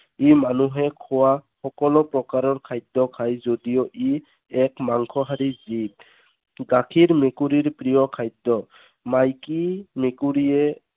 ই মানুহে খোৱা সকলো প্ৰকাৰৰ খাদ্য খাই যদিও ই এক মাংসহাৰী জীৱ। গাখীৰ মেকুৰীৰ প্ৰিয় খাদ্য। মাইকী মেকুৰীয়ে